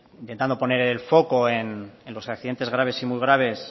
intentando poner el foco en los accidentes graves y muy graves